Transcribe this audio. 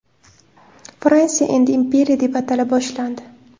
Fransiya endi imperiya deb atala boshlandi.